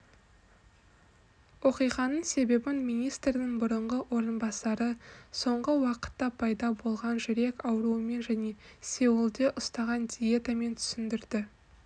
оқиғаның себебін министрдің бұрынғы орынбасары соңғы уақытта пайда болған жүрек ауруымен және сеулде ұстаған диетамен түсіндірді